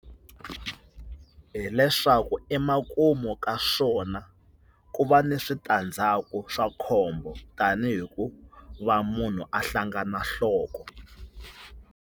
Hi leswaku emakumu ka swona ku va ni switandzhaku swa khombo tani hi ku va munhu a hlangana nhloko.